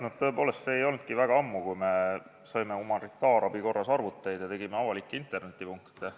Jah, tõepoolest see ei olnudki väga ammu, kui me saime humanitaarabi korras arvuteid ja tegime avalikke internetipunkte.